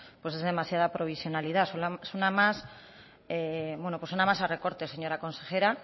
pues es demasiada provisionalidad suena más bueno suena más a recortes señora consejera